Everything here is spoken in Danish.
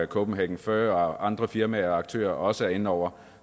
kopenhagen fur og andre firmaer og aktører også er inde over